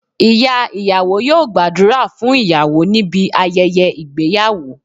Ìyá ìyàwó yóò gbàdúrà fún ìyàwó níbi ayẹyẹ ìgbéyàwó